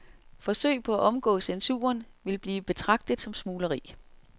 Forsøg på at omgå censuren vil blive betragtet som smugleri.